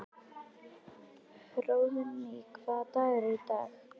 Hróðný, hvaða dagur er í dag?